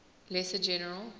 lesser general